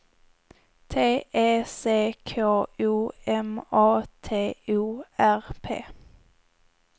T E C K O M A T O R P